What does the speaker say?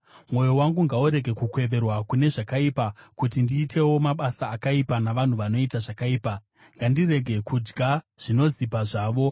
Mwoyo wangu ngaurege kukweverwa kune zvakaipa, kuti ndiitewo mabasa akaipa navanhu vanoita zvakaipa; ngandirege kudya zvinozipa zvavo.